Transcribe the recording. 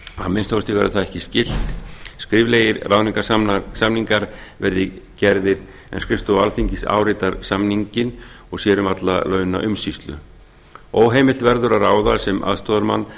kosti verður það ekki skylt skriflegir ráðningarsamningar verða gerðir en skrifstofa alþingis áritar samninginn og sér um alla launaumsýslu óheimilt verður að ráða sem aðstoðarmann